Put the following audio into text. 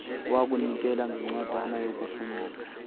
wokunikela ngencwadana yokufundisa